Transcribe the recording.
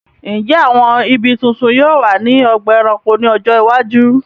Ǹjẹ́ àwọn ibi tuntun yóò wà ní ọgbà ẹranko ní ọjọ́ iwájú?